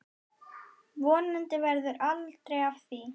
Vonandi verður aldrei af því.